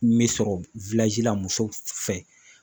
N bɛ sɔrɔ la muso fɛ.